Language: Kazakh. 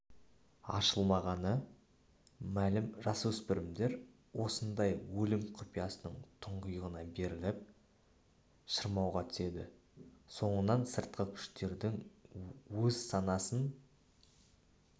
ашылмағаны мәлім жасөспірімдер осындай өлім құпиясының тұңғиығына беріліп шырмауға түседі соңынан сыртқы күштердің өз санасын